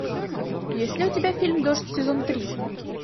есть ли у тебя фильм дождь сезон три